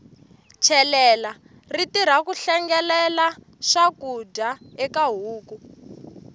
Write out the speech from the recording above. chelela ri tirha ku hlengelela swakudya eka huku